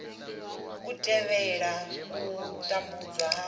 u thivhela u tambudzwa ha